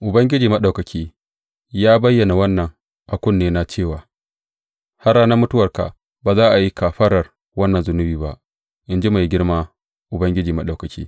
Ubangiji Maɗaukaki ya bayyana wannan a kunnena cewa, Har ranar mutuwarka ba za a yi kafarar wannan zunubi ba, in ji mai girma Ubangiji Maɗaukaki.